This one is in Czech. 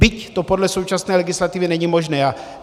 Byť to podle současné legislativy není možné.